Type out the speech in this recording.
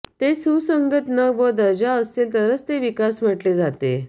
ते सुसंगत न व दर्जा असतील तर ते विकास म्हटले जाते